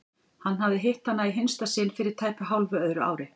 Hann hafði hitt hana í hinsta sinn fyrir tæpu hálfu öðru ári.